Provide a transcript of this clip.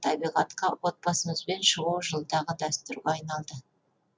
табиғатқа отбасымызбен шығу жылдағы дәстүрге айналды